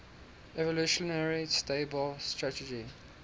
evolutionarily stable strategy